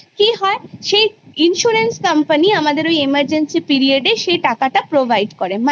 কি হয় সেই insurance company আমাদের ওই emergency period এ সেই টাকাটা provide করে